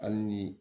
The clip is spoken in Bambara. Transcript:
Hali ni